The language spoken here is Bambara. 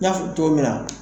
I n'a fɔ togomin na